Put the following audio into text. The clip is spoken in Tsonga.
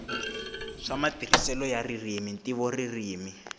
swa matirhiselo ya ririmi ntivoririmi